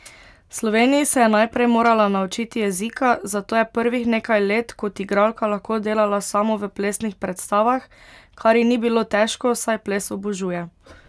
V Sloveniji se je najprej morala naučiti jezika, zato je prvih nekaj let kot igralka lahko delala samo v plesnih predstavah, kar ji ni bilo težko, saj ples obožuje.